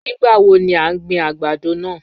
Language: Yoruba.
Nigbawo ni a n gbin agbado naa?